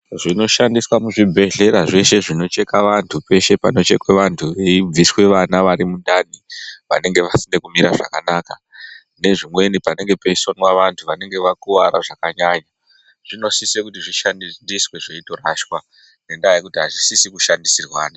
Zvinoshandiswa muzvibhedhlera zveshe zvinocheka vantu peshe panochekwa antu veibviswa vana vari mundani vanenge vasina kumira zvakanaka nezvimweni panenge peisonwa antu anenge akuwara zvakanyanya zvinosise kuti zvishandiswe zveitorashwa ngekuti azvisisi kushandisirwana.